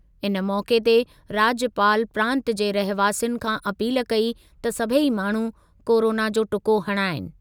इन मौक़े ते राज्यपाल प्रांत जे रहवासियुनि खां अपील कई त सभेई माण्हू कोरोना जो टुको हणाइनि।